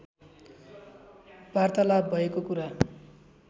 वार्तालाप भएको कुरा